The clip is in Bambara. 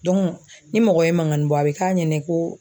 ni mɔgɔ ye mankannin bɔ a bɛ k'a ɲɛnɛ ko